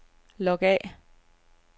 log af